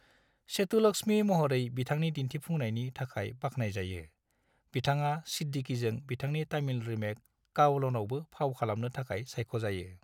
सेतुलक्ष्मी महरै बिथांनि दिन्थिफुंनायनि थाखाय बाख्नायजायो, बिथाङा सिद्दीकीजों बिथांनि तामिल रीमेक, कावलनआवबो फाव खालामनो थाखाय सायख'जायो।